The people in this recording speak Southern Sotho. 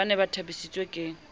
ba ne ba thabisitswe ke